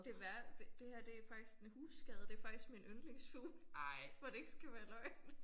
Det være det det her det faktisk en husskade det faktisk min yndlingsfugl for det ikke skal være løgn